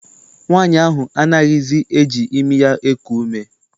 Nwaanyi ahụ anaghịzi eji imi ya eku ume.